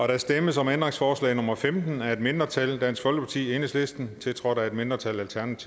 der stemmes om ændringsforslag nummer femten af et mindretal tiltrådt af et mindretal